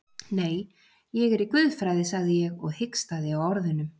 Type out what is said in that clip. Nei, ég er í guðfræði, sagði ég og hikstaði á orðunum.